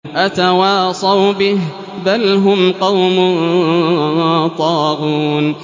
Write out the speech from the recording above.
أَتَوَاصَوْا بِهِ ۚ بَلْ هُمْ قَوْمٌ طَاغُونَ